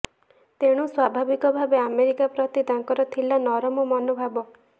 ତେଣୁ ସ୍ୱାଭାବିକ ଭାବେ ଆମେରିକା ପ୍ରତି ତାଙ୍କର ଥିଲା ନରମ ମନୋଭାବ